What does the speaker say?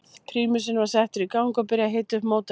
Prímusinn var settur í gang og byrjað að hita upp mótorinn.